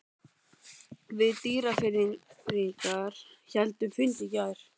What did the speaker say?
Við Dýrfirðingar héldum fund í gær.